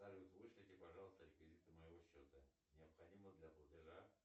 салют вышлите пожалуйста реквизиты моего счета необходимо для платежа